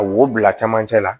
A wo bila camancɛ la